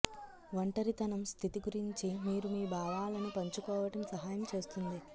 ఒంటరితనం స్థితి గురించి మీరు మీ భావాలను పంచుకోవటం సహాయం చేస్తుంది